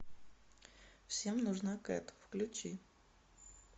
всем нужна кэт включи